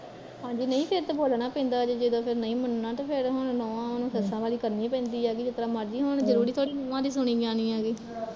ਹਾਂਜੀ, ਨਹੀਂ ਫੇਰ ਤੇ ਬੋਲਣਾ ਪੈਂਦਾ ਜਦੋਂ ਨਹੀਂ ਮੰਨਣਾ ਤੇ ਫੇਰ ਹੁਣ ਨੂਹਾਂ ਨੂੰ ਸੱਸਾ ਵਾਲੀ ਕਰਣੀ ਪੈਂਦੀ ਐਗੀ, ਜਿਸ ਤਰਾਂ ਮਰਜ਼ੀ ਹੋਣ ਜ਼ਰੂਰੀ ਥੋੜੇ ਆ ਵੀ ਨੁਹਾ ਦੀ ਸੁਣੀ ਜਾਣੀ ਐਗੀ